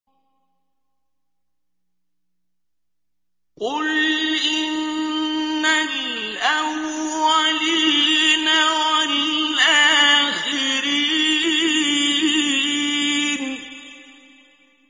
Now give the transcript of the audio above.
قُلْ إِنَّ الْأَوَّلِينَ وَالْآخِرِينَ